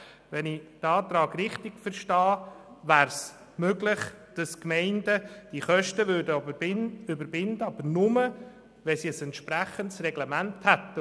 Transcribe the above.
Wenn ich den Antrag richtig verstehe, wäre es möglich, dass Gemeinden die Kosten weiter verrechnen können, aber nur, wenn sie ein entsprechendes Reglement haben.